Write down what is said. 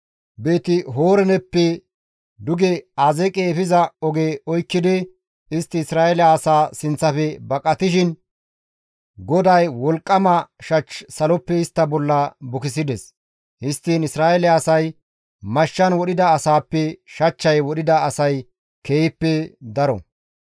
Beeti-Horooneppe duge Azeeqe efiza oge oykkidi istti Isra7eele asaa sinththafe baqatishin GODAY wolqqama shach saloppe istta bolla bukisides. Histtiin Isra7eele asay mashshan wodhida asaappe, shachchay wodhida asay keehippe daro.